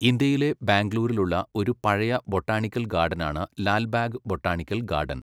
ഇന്ത്യയിലെ ബാംഗ്ലൂരിലുള്ള ഒരു പഴയ ബൊട്ടാണിക്കൽ ഗാർഡനാണ് ലാൽബാഗ് ബൊട്ടാണിക്കൽ ഗാർഡൻ.